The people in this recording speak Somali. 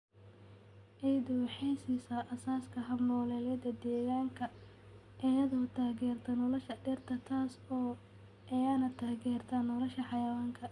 Ciiddu waxay siisaa aasaaska hab-nololeedyada deegaanka iyadoo taageerta nolosha dhirta, taas oo iyana taageerta nolosha xayawaanka.